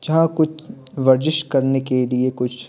जहां कुछ वर्जिश करने के लिए कुछ --